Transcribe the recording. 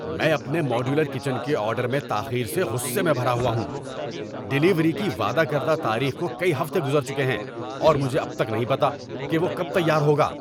میں اپنے modular kitchen کے آرڈر میں تاخیر سے غصے میں بھرا ہوا ہوں۔ ڈلیوری کی وعدہ کردہ تاریخ کو کئی ہفتے گزر چکے ہیں، اور مجھے اب تک نہیں پتہ کہ وہ کب تیار ہوگا۔